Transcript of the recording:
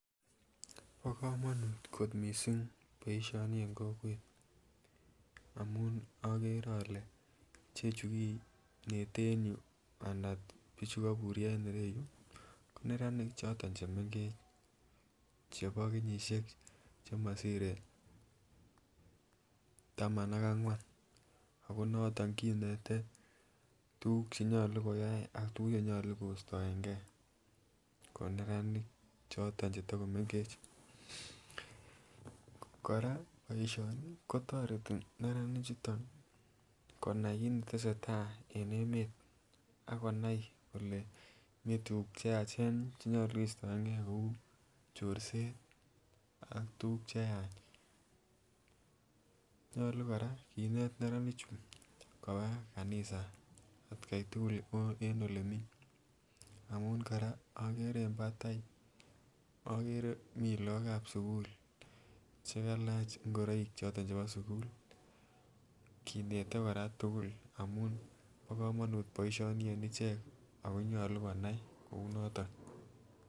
Bo komonut kot missing boishoni en kokwet amun okere ole chechu kinete en yuu ana bichuu koburyo en ireyuu ko neranik choton chemgech chebo kenyishek chemomsire taman ak angwan ako noton konete tukuk chenyolu koyai ak tukuk chenyolu kostoengee ko neranik choton chetokomenge. Koraa boishoni kotoreti neranik chuton nii konai kit netesetai en emet akinai kole Mii tukuk cheyechen chenyolu kostoengee kou chorset ak tukuk cheyach, nyolu Koraa kinet neranik chuu koba kanisa atgai tukul ot en elemii, amun Koraa okere en patai okere mii lok ab sukul chekalach ngoroik choton chebo sukul. Kinete Koraa tukuk amun bo komonut boishoni en icheket ako nyolu konai kou niton.